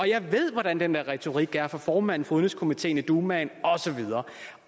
jeg ved hvordan den der retorik er fra formanden for udenrigskomiteen i dumaen